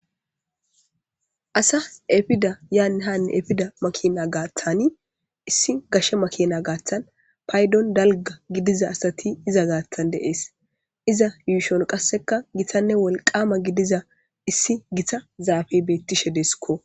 asa efida yaannhanne efida makina gaaththani issi gashe makina gaaththan paydon dalga gidiza asati iza gaaththan deees iza yuushon qasseka gitanne wolqama gidiza issi gita zaafebettishe deeskko